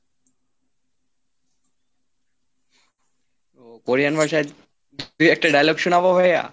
Korean ভাষায় দু একটা dialogue শোনাবো ভাইয়া?